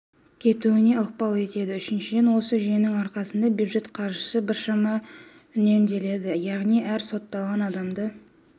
кетуіне ықпал етеді үшіншіден осы жүйенің арқасында бюджет қаржысы біршама үнемделеді яғни әр сотталған адамды